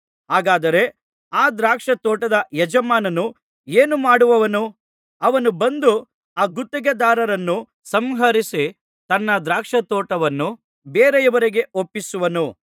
ಹಾಗಾದರೆ ಆ ದ್ರಾಕ್ಷಾ ತೋಟದ ಯಜಮಾನನು ಏನು ಮಾಡುವನು ಅವನು ಬಂದು ಆ ಗುತ್ತಿಗೆದಾರರನ್ನು ಸಂಹರಿಸಿ ತನ್ನ ದ್ರಾಕ್ಷಾತೋಟವನ್ನು ಬೇರೆಯವರಿಗೆ ಒಪ್ಪಿಸುವನು